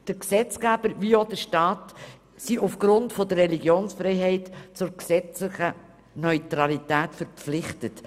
Der Gesetzgeber wie auch der Staat sind aufgrund der Religionsfreiheit zur Neutralität verpflichtet.